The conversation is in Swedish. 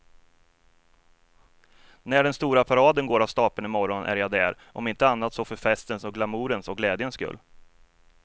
När den stora paraden går av stapeln i morgon är jag där, om inte annat så för festens och glamourens och glädjens skull.